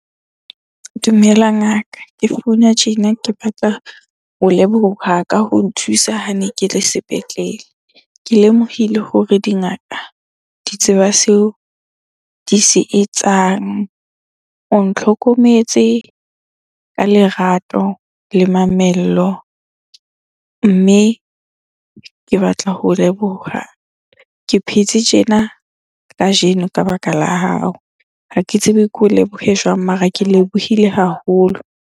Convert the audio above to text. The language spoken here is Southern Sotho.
Dumela ngaka. Ke founa tjena ke batla ho leboha ka ho nthusa hane ke le sepetlele. ke lemohile hore dingaka di tseba seo di se etsang. O ntlhokometse ka lerato le mamello, mme ke batla ho o leboha. Ke phetse tjena kajeno ka baka la hao, ha ke tsebe ke ho lebohe jwang mara ke lebohile haholo.